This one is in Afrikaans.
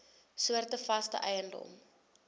soorte vaste eiendom